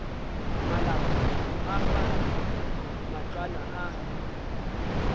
malapa go aga matlwana a